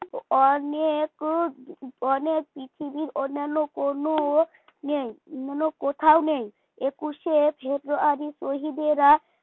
অনেক অনেক পৃথিবীর অন্যান্য কোন নেই অন্যান্য কোথাও নেই একুশে ফেব্রুয়ারি শহীদেরা